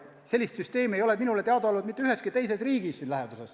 Sellist süsteemi ei ole minule teadaolevalt mitte üheski teises riigis siin läheduses.